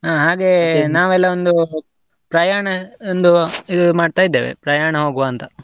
ಅಹ್ ಹಾಗೆ ಒಂದು, ಪ್ರಯಾಣ ಒಂದು ಇದು ಮಾಡ್ತಾ ಇದ್ದೇವೆ, ಪ್ರಯಾಣಾ ಹೋಗ್ವಾ ಅಂತ.